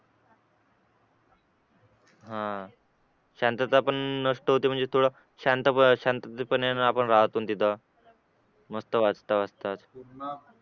हा शांतता पण नष्ट होते म्हणजे थोडं शांत राहतो तिथे मस्त वाचता वाचताच